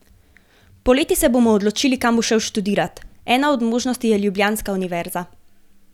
Poleti se bomo odločili, kam bo šel študirat, ena od možnosti je ljubljanska univerza.